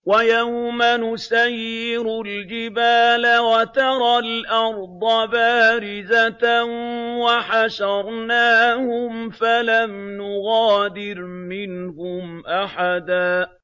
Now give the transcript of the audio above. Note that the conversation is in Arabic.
وَيَوْمَ نُسَيِّرُ الْجِبَالَ وَتَرَى الْأَرْضَ بَارِزَةً وَحَشَرْنَاهُمْ فَلَمْ نُغَادِرْ مِنْهُمْ أَحَدًا